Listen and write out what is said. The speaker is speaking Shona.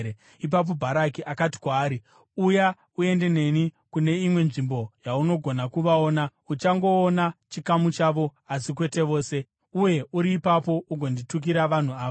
Ipapo Bharaki akati kwaari, “Uya uende neni kune imwe nzvimbo yaunogona kuvaona; uchangoona chikamu chavo asi kwete vose. Uye uri ipapo ugonditukira vanhu ava.”